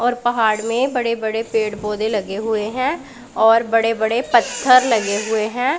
और पहाड़ में बड़े बड़े पेड़ पौधे लगे हुए हैं और बड़े बड़े पत्थर लगे हुए हैं।